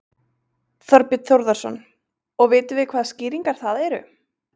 Þorbjörn Þórðarson: Og vitum við hvaða skýringar það eru?